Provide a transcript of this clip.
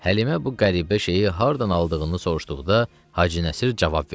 Həlimə bu qəribə şeyi hardan aldığını soruşduqda, Hacı Nəsir cavab verdi: